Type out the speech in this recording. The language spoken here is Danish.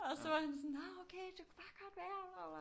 Og så var han sådan nå okay det kunne bare godt være at